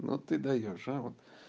ну ты даёшь а вот